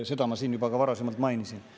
Seda ma siin ka juba varasemalt mainisin.